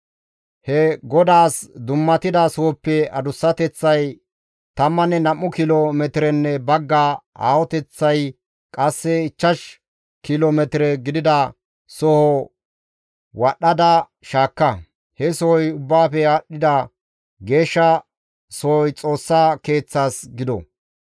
He GODAAS dummatida sohoppe adussateththay tammanne nam7u kilo metirenne bagga, aahoteththay qasse ichchash kilo metire gidida soho wadhdhada shaakka. He sohoy ubbaafe aadhdhida geeshsha sohoy Xoossa Keeththas gido.